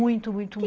Muito, muito, muito.